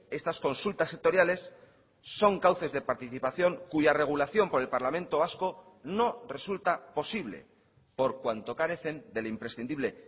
estas consultas sectoriales son cauces de participación cuya regulación por el parlamento vasco no resulta posible por cuanto carecen del imprescindible